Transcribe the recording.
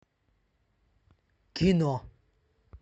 кино